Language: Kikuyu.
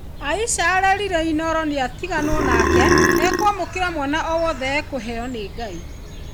Aisha arerire Inooro nĩatiganwo nake ekwamũkĩra mwana o wothe ekũheyo nĩ Ngai.